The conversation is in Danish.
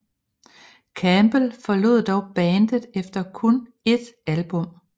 Campbell forlod dog bandet efter kun ét album